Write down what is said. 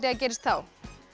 að gerist þá